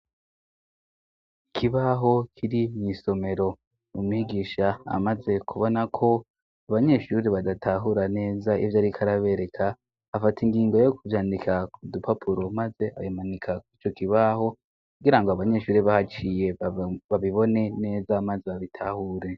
Ikibaho kiri mw'isomero mumigisha amaze kubona ko abanyeshuri badatahura neza ivyo, ariko arabereka afata ingingo yo kuvyandika k dupapuro, maze abimanika kuco kibaho kugira ngo abanyeshuri bahaciye babibone neza, maze abitahure.